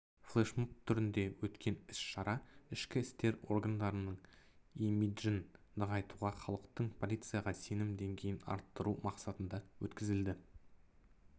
флешмоб түрінде өткен іс-шара ішкі істер органдарының имиджін нығайтуға халықтың полицияға сенім денгейін арттыру мақсатында өткізілді